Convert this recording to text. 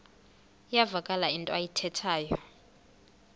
iyavakala into ayithethayo